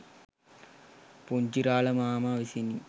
පුංචිරාළ මාමා විසිනි.